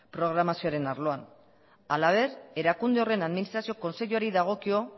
programazioaren arloan halaber erakunde horren administrazio kontseiluari dagokio